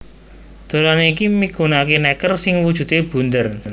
Dolanan iki migunakaké nèker sing wujudé bunder